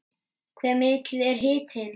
Hve mikill er hitinn?